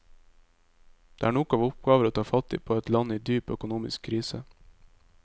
Det er nok av oppgaver å ta fatt på i et land i dyp, økonomisk krise.